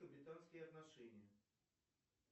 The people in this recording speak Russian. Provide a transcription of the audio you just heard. британские отношения